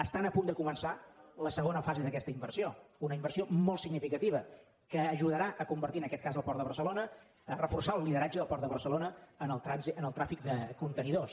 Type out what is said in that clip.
estan a punt de començar la segona fase d’aquesta inversió una inversió molt significativa que ajudarà a convertir en aquest cas el port de barcelona a reforçar el lideratge del port de barcelona en el tràfic de contenidors